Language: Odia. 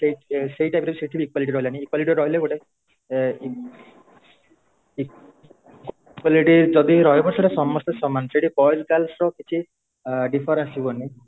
equality ଯଦି ବି ରହିବ ସେଇଟା ସମସ୍ତେ ସମାନ ସେଇଠି boys girls ର କିଛି difference ଥିବନି